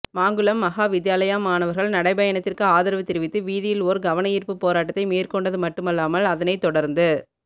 மாங்குளம் மகா வித்தியாலய மாணவர்கள் நடைபயணத்திற்க்கு ஆதரவு தெரிவித்து வீதியில் ஓர் கவனயீர்பு போராட்டத்தை மேற்கொண்டது மட்டுமல்லாமல் அதனைத்தொடர்ந்து